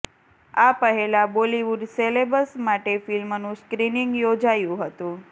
આ પહેલા બોલિવૂડ સેલેબ્સ માટે ફિલ્મનું સ્ક્રિનિંગ યોજાયું હતું